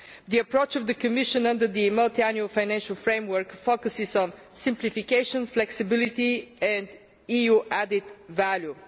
The approach of the Commission under the multiannual financial framework focuses on simplification, flexibility and EU added value.